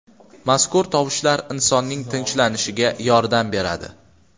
Mazkur tovushlar insonning tinchlanishiga yordam beradi.